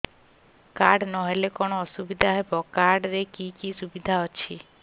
card ନହେଲେ କଣ ଅସୁବିଧା ହେବ କାର୍ଡ ରେ କି କି ସୁବିଧା ଅଛି